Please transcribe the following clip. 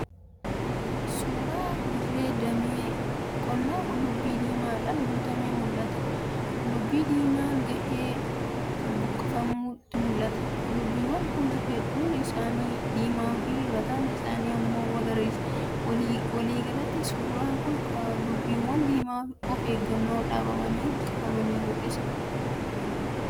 1.Suura dirree damee qonnaa qullubbii diimaadhaan guutametu mul'ata. 2.Qullubbii diimaa gahee buqqifametu mul'ata. 3.Qullubbiiwwan kun hundeen isaanii diimaa fi mataan isaanii immoo magariisadha. 4.Waliigalatti, suuraan kun Qullubbiiwwan diimaa of eeggannoon dhaabamanii buqqifaman mul'isa.